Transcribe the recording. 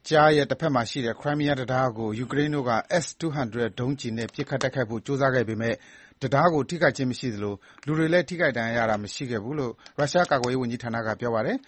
ကြားရဲ့ တဘက်မှာရှိတဲ့ Crimea တံတားကို ယူကရိန်းတို့က S-200 ဒုံးကျည်နဲ့ပစ်ခတ် တိုက်ခိုက်ဖို့ ကြိုးစားခဲ့ပေမယ့် တံတားကို ထိခိုက်ခြင်းမရှိသလို၊ လူတွေလည်း ထိခိုက် ဒဏ်ရာရတာ မရှိဘူးလို့ ရုရှားကာကွယ်ရေးဝန်ကြီးဌနာက ပြောပါတယ်